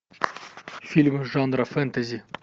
фильмы жанра фэнтези